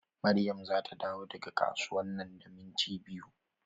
Maryam zata dawo daga kasuwa nan da minti biyu.